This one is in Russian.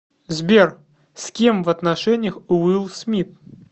сбер с кем в отношениях уилл смит